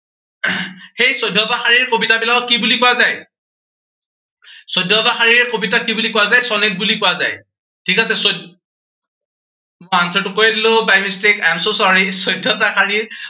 সেই চৈধ্যটা শাৰীৰ কবিতাবিলাকক কি বুলি কোৱা যায়। চৈধ্যটা শাৰীৰ কবিতাক কি বুলি কোৱা যায়, সনেট বুলি কোৱা যায়। ঠিক আছে চৈ মই answer টো কৈয়েই দিলো, by mistake, I am so sorry চৈধ্যটা শাৰীৰ